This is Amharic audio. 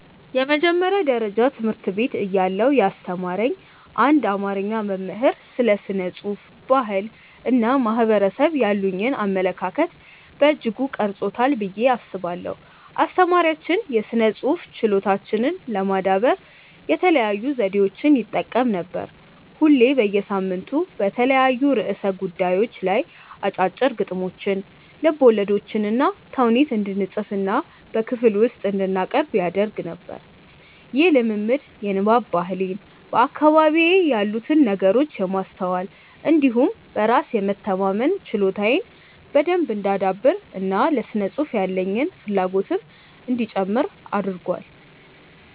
የመጀመሪያ ደረጃ ትምህርት ቤት እያለሁ ያስተማረኝ አንድ አማርኛ መምህር ስለ ስነ ጽሁፍ፣ ባህል እና ማህበረሰብ ያሉኝን አመለካከት በእጅጉ ቀርጾታል ብዬ አስባለሁ። አስተማሪያችን የስነ ጽሁፍ ችሎታችንን ለማዳበር የተለያዩ ዘዴዎችን ይጠቀም ነበር። ሁሌ በየሳምንቱ በተለያዩ ርዕሰ ጉዳዮች ላይ አጫጭር ግጥሞችን፣ ልቦለዶችንና ተውኔት እንድንፅፍና በክፍል ውስጥ እንድናቀርብ ያደርግ ነበር። ይህ ልምምድ የንባብ ባህሌን፣ በአካባቢዬ ያሉትን ነገሮች የማስተዋል እንዲሁም በራስ የመተማመን ችሎታዬን በደንብ እንዳዳብር እና ለስነ ጽሁፍ ያለኝን ፍላጎትም እንዲጨምር አድርጓል።